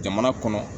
Jamana kɔnɔ